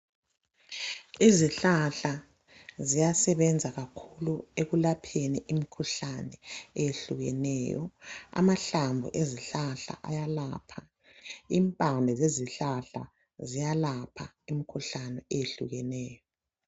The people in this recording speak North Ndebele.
Izihlahla ziyasebenza kakhulu ekulapheni imikhuhlane eyehlukeneyo, amahlamvu ezihlahla ayalapha, impande zezihlahla ziyalapha imikhuhlane eyehlukeneyo